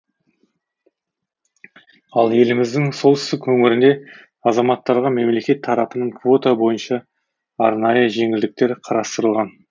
ал еліміздің солтүстік өңірінде азаматтарға мемлекет тарапынан квота бойынша арнайы жеңілдіктер қарастырылған